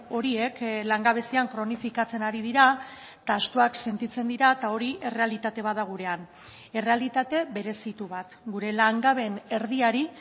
horiek langabezian kronifikatzen ari dira eta ahaztuak sentitzen dira eta hori errealitate bat da gurean errealitate berezitu bat gure langabeen erdiari